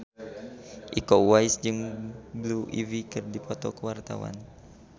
Iko Uwais jeung Blue Ivy keur dipoto ku wartawan